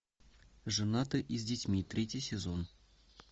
женаты и с детьми третий сезон